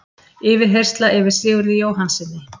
Yfirheyrsla yfir Sigurði Jóhannssyni